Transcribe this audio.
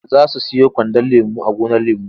Za su siyo kwandon lemo a gonar lemo.